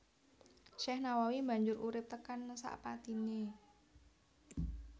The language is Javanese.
Syekh Nawawi banjur urip tekan sapatine